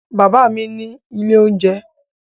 Bàbá mi ní ilé-oúnjẹ.